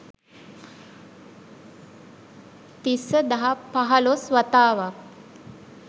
තිස්ස දහ පහළොස් වතාවක්